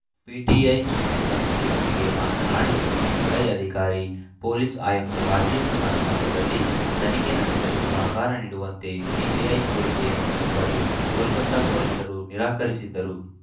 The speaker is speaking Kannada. ಪಿಟಿಐ ಸುದ್ದಿಸಂಸ್ಥೆಯೊಂದಿಗೆ ಮಾತನಾಡಿದ ಸಿಬಿಐ ಅಧಿಕಾರಿ ಪೊಲೀಸ್‌ ಆಯುಕ್ತ ರಾಜೀವ್‌ ಕುಮಾರ್‌ ನಿವಾಸದಲ್ಲಿ ತನಿಖೆ ನಡೆಸಲು ಸಹಕಾರ ನೀಡುವಂತೆ ಸಿಬಿಐ ಕೋರಿಕೆಯನ್ನು ಒಪ್ಪಲು ಕೋಲ್ಕತಾ ಪೊಲೀಸರು ನಿರಾಕರಿಸಿದ್ದರು